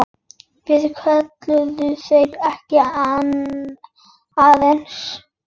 Svo kölluðu þeir: Komiði aðeins!